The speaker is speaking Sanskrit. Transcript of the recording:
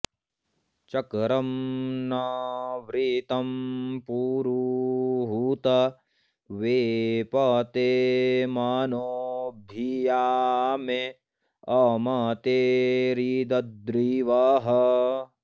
च॒क्रं न वृ॒त्तं पु॑रुहूत वेपते॒ मनो॑ भि॒या मे॒ अम॑ते॒रिद॑द्रिवः